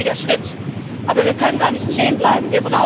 Das ist ein richtiger Schritt, aber wir können da nicht stehen bleiben.